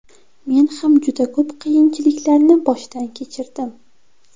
Men ham juda ko‘p qiyinchiliklarni boshdan kechirdim.